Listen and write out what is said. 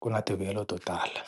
ku na tivuyelo to tala.